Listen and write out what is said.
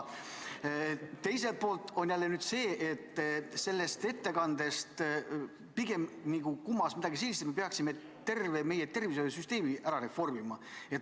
Teiselt poolt on jälle see, et ettekandest nagu kumas läbi midagi sellist, et me peaksime tervet meie tervishoiusüsteemi reformima.